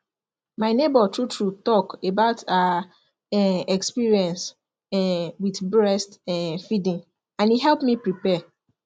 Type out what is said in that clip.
my neighbor true true talk about her um experience um with breast um feeding and e help me prepare